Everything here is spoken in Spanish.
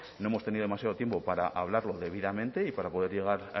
no hemos tenido demasiado tiempo para hablarlo debidamente y para poder llegar